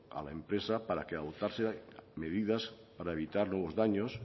a la empresa para que adoptase medidas para evitar nuevos daños